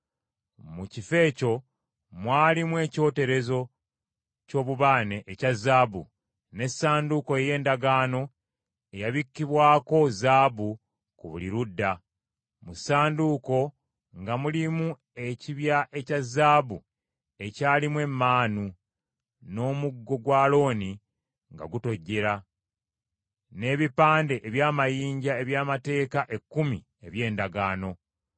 Mu kifo ekyo mwalimu ekyoterezo ky’obubaane ekya zaabu, n’essanduuko ey’endagaano, eyabikkibwako zaabu ku buli ludda. Mu ssanduuko nga mulimu ekibya ekya zaabu ekyalimu emmaanu, n’omuggo gwa Alooni nga gutojjedde, n’ebipande eby’amayinja eby’Amateeka Ekkumi eby’endagaano.